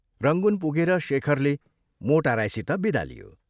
Rangoon पुगेर शेखरले मोटा राईसित विदा लियो।